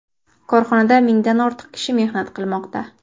Korxonada mingdan ortiq kishi mehnat qilmoqda.